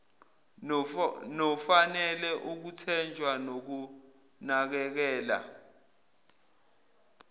nofanele ukuthenjwa nokunakekela